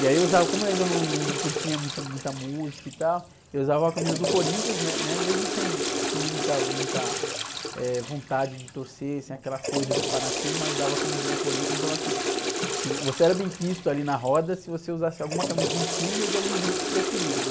E aí eu usava, como eu ainda não, não, não curtia muito muita música e tal, eu usava a camisa do Corinthians, né? Mesmo sem, sem muita, muita, eh, vontade de torcer, sem aquela coisa de fanatismo, mas usava a camisa do Corinthians, então assim, se... Você era bem quisto ali na roda, se você usasse alguma camisa de um time ou de algum grupo preferido, né?